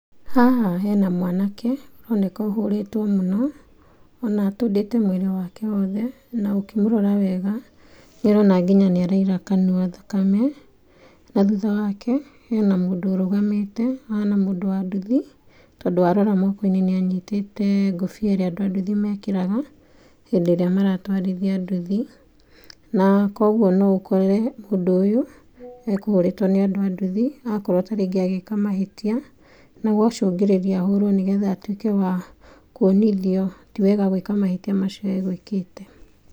Haha hena mwanake, ũroneka ũhũrĩtwo mũno, ona atũndĩte mwĩrĩ wake wothe, na ũkĩmũrora wega, nĩũrona nginya nĩaraira kanua thakame, na thutha wake, hena mũndũ ũrũgamĩte, ũhana mũndũ wa nduthi, tondũ warora mokoinĩ nĩanyitĩte ngobĩa ĩrĩa andũ a nduthĩ mekĩraga, hindĩ ĩrĩa maratwarithia ndũthi, na koguo no ũkore mũndũ ũyũ, ekũhũrĩtwo nĩ andũ a anduthi akorwo taringĩ agĩka mahĩtia, nagwacũngĩrĩria ahũrwo nĩgetha atuĩke wa kuonithio tiwega gwĩka mahĩtia macio agwĩkĩte.